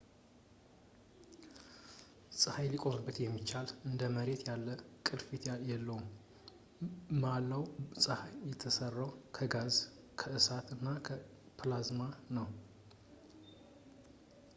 ፀሀይ ሊቆምበት የሚቻል እንደ መሬት ያለ ቅርፊት የለውም መላው ፀሐይ የተሠራው ከጋዝ ከእሳት እና ከፕላዝማ ነው